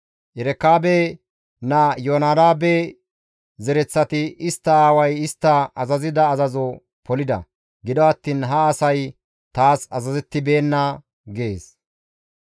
Erekaabe naa Iyoonadaabe zereththati istta aaway istta azazida azazo polida; gido attiin ha asay taas azazettibeenna» gees.